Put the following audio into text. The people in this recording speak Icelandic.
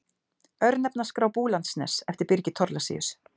Örnefnaskrá Búlandsness eftir Birgi Thorlacius.